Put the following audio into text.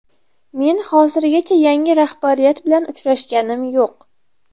Men hozirgacha yangi rahbariyat bilan uchrashganim yo‘q.